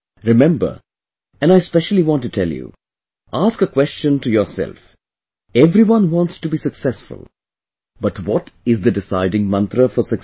Remember, and I specially want to tell you... Ask a question to yourself everyone wants to be successful but what is the deciding mantra for success